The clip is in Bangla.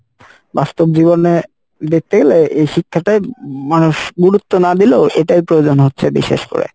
বাস্তব জীবনে এই শিক্ষাটাই মানুষ গুরুত্ব না দিলেও এটাই প্রয়োজন হচ্ছে বিশেষ করে